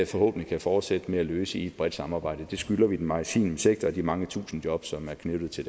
forhåbentlig kan fortsætte med at løse i et bredt samarbejde det skylder vi den maritime sektor og de mange tusinde jobs som er knyttet til